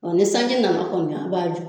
Ɔ ni sanji nana kɔni a b'a jɔ